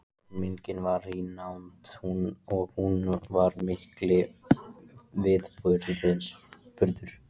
Fermingin var í nánd og hún var mikill viðburður.